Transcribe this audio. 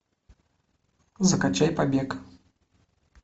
закачай побег